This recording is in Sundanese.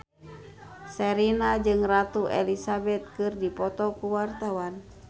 Sherina jeung Ratu Elizabeth keur dipoto ku wartawan